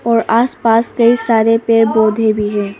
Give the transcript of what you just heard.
और आसपास कई सारे पेड़ पौधे भी है।